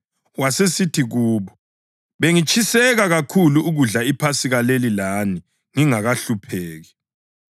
Wasesithi kubo, “Bengitshiseka kakhulu ukudla iPhasika leli lani ngingakahlupheki.